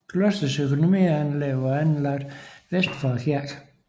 Klostrets økonomianlæg var anlagt vest for kirken